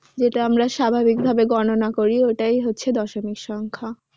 যেটা আমরা স্বাভাবিকভাবে গণনা করি ওটাই হচ্ছে দশমিক সংখ্যা।